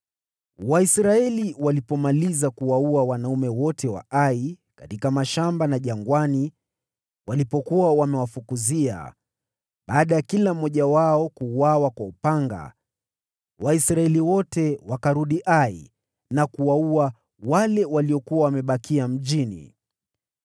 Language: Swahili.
Israeli ilipomaliza kuwaua wanaume wote wa Ai katika mashamba na jangwani walipokuwa wamewafukuzia, na baada ya kila mmoja wao kuuawa kwa upanga, Waisraeli wote wakarudi Ai na kuwaua wale waliokuwa wamebakia mjini.